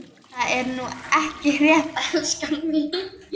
Það er nú ekki rétt, elskan mín.